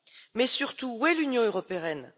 Mais surtout, où est l'Union européenne?